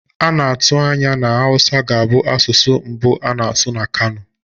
A na-atụ anya na Hausa ga-abụ asụsụ mbụ a na-asụ na Kano.